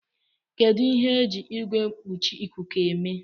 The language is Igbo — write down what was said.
Kedu ihe eji Igwe mkpuchi ikuku eme